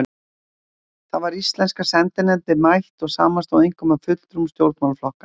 Þá var íslenska sendinefndin mætt og samanstóð einkum af fulltrúum stjórnmálaflokkanna